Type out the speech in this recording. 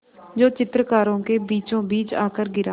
जो चित्रकारों के बीचोंबीच आकर गिरा